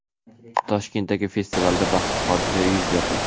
Toshkentdagi festivalda baxtsiz hodisa yuz berdi.